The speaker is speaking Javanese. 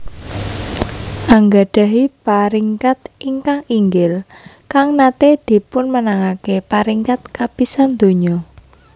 Anggadahi Paringkat ingkang inggil kang nate dipunmenangake paringkat kapisan donya